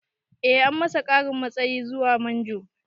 Eh an masa ƙarin matsayi zuwa manjo